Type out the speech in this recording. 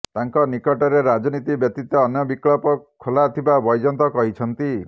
ତାଙ୍କ ନିକଟରେ ରାଜନୀତି ବ୍ୟତୀତ ଅନ୍ୟ ବିକଳ୍ପ ଖୋଲାଥିବା ବୈଜୟନ୍ତ କହିଛନ୍ତି